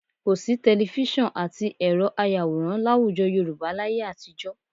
Kò sí tẹlifísàn àti ẹ̀rọ ayàwòrán láwùjọ Yorùbá láyé àtijọ́